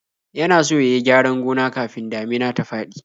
Yana so ya yi gyaran gona kafin damina ta faɗi.